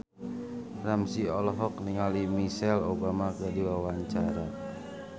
Ramzy olohok ningali Michelle Obama keur diwawancara